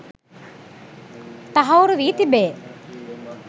තහවුරු වී තිබේ.